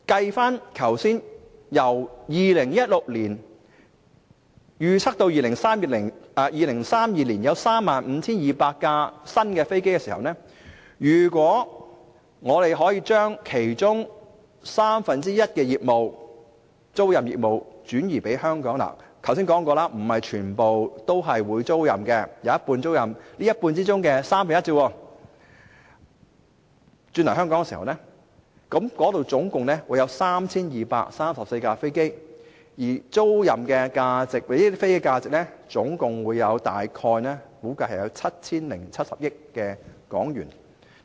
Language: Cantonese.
如果以2016年至2032年預測約有 35,200 架新飛機來計算，而我們可以將其中三分之一的租賃業務轉移到香港——我剛才也說過，不是全部飛機都是供租賃的，只有一半作租賃，在這一半之中的三分之一，總共有 3,234 架飛機供租賃——而這些飛機租賃業務的價值總共大約 7,070 億港元。